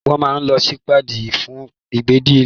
Wọ́n máa n lo sípédì fún gbígbẹ́ ilẹ̀